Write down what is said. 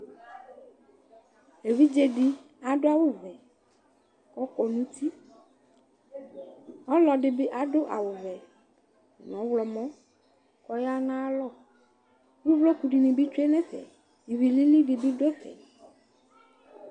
Evidze dɩ adʋ awʋvɛ kʋ ɔkɔ nʋ uti Ɔlɔdɩ bɩ adʋ awʋvɛ nʋ ɔɣlɔmɔ kʋ ɔya nʋ ayalɔ Uvloku dɩnɩ bɩ tsue nʋ ɛfɛ Ivi lili dɩ bɩ dʋ ɛfɛ